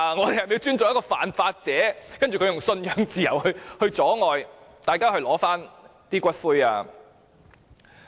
是否要尊重犯法者，而它以信仰自由來阻礙大家領取骨灰？